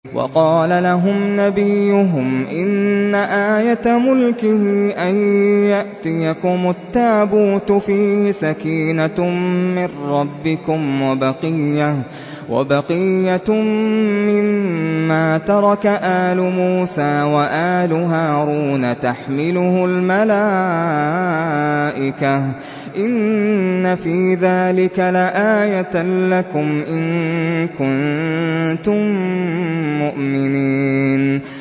وَقَالَ لَهُمْ نَبِيُّهُمْ إِنَّ آيَةَ مُلْكِهِ أَن يَأْتِيَكُمُ التَّابُوتُ فِيهِ سَكِينَةٌ مِّن رَّبِّكُمْ وَبَقِيَّةٌ مِّمَّا تَرَكَ آلُ مُوسَىٰ وَآلُ هَارُونَ تَحْمِلُهُ الْمَلَائِكَةُ ۚ إِنَّ فِي ذَٰلِكَ لَآيَةً لَّكُمْ إِن كُنتُم مُّؤْمِنِينَ